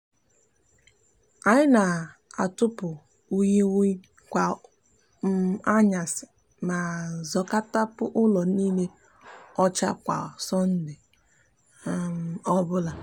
anyi n'atutupu unyigunyi kwa um anyasi ma zakopu ulo niile ocha kwa sonde um obula